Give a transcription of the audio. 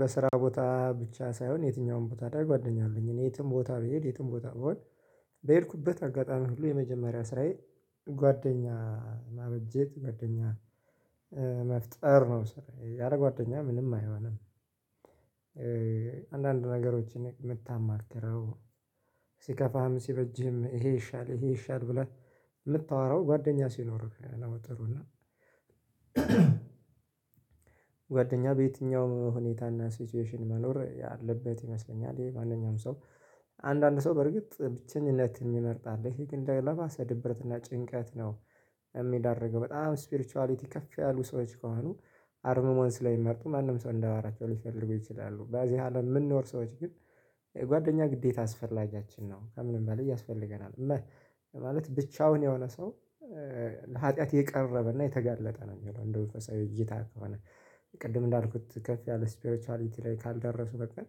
በስራ ቦታ ብቻ ሳይሆን የትኛውም ቦታ ላይ ጓደኛ አለኝ እኔ የትም ቦታ ብሄድ የትም ቦታ ብሆን በሄድኩበት አጋጣሚ ሁሉ የመጀመሪያ ስራዬ ጓደኛ ማበጀት ጓደኛ መፍጠር ነው። ስራየ ያለ ጓደኛ ምንም አይሆንም። አንዳንድ ነገሮችን የምታማክረው ሲከፋህም ሲበጅህም ይሄ ይሻል ይሄ ይሻል ብለህ ምታወራው ጓደኛ ሲኖርህ ነው። ጥሩ እና ጓደኛ በየትኛውም ሁኔታና ሲቹዌሽን መኖር ያለበት ይመስለኛል። ይሄ ማንኛውም ሰው አንዳንድ ሰው በርግጥ ብቸኝነት የሚመርጥ አለ ይሄ ግን ለባሰ ድብርትና ጭንቀት ነው። የሚዳርገው በጣም ስፒርቹዋሊቲ ከፍ ያሉ ሰዎች ከሆኑ አርምሞን ስለሚመርጡ ማንም ሰው እንዳወራቸው ሊፈልጉ ይችላሉ። በዚህ አለም የምንኖር ሰዎች ግን ጓደኛ ግዴታ አስፈላጊያችን ነው ከምንም በላይ ያስፈልገናል። ማለት ብቻውን የሆነ ሰው ለሀጥያት የቀረበና የተጋለጠ ነው። የሚለው እንደ መንፈሳዊ እይታ ከሆነ ቅድም እንዳልኩት ከፍ ያለ ስፒሪቹዋሊቲ ላይ ካልደረሱ በቀር